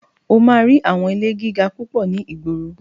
O máa rí àwọn ilé gíga púpọ̀ ní ìgboro.